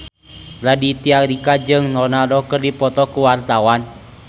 Raditya Dika jeung Ronaldo keur dipoto ku wartawan